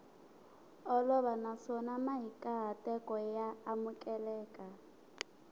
olova naswona mahikahatelo ya amukeleka